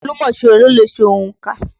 Olùmọ̀ṣirò ló le ṣe ònkà.